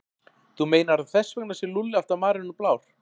Þú meinar að þess vegna sé Lúlli alltaf marinn og blár?